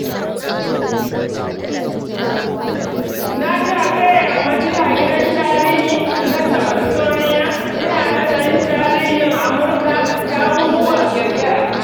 Na shafe yammaci a gidan tarihi na Smithsonian ina nazarin tarihin Amurka da abubuwan ƙirƙira.